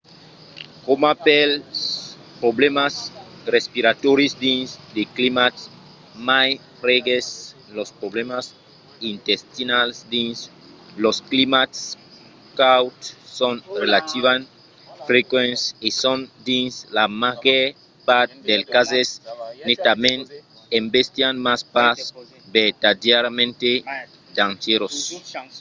coma pels problèmas respiratòris dins de climats mai freges los problèmas intestinals dins los climats cauds son relativament frequents e son dins la màger part dels cases netament embestiants mas pas vertadièrament dangieroses